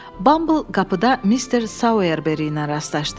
Bumble qapıda Mister Sauerberry ilə rastlaşdı.